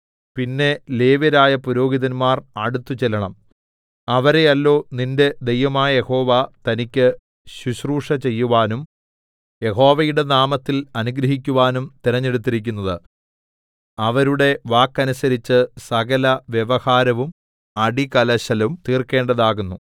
പിന്നെ ലേവ്യരായ പുരോഹിതന്മാർ അടുത്തു ചെല്ലണം അവരെയല്ലോ നിന്റെ ദൈവമായ യഹോവ തനിക്ക് ശുശ്രൂഷ ചെയ്യുവാനും യഹോവയുടെ നാമത്തിൽ അനുഗ്രഹിക്കുവാനും തിരഞ്ഞെടുത്തിരിക്കുന്നത് അവരുടെ വാക്കനുസരിച്ച് സകലവ്യവഹാരവും അടികലശലും തീർക്കേണ്ടതാകുന്നു